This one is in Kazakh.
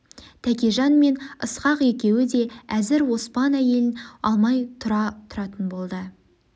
тәкежан мен ысқақ екеуі де әзір оспан әйелін алмай тұра тұратын болды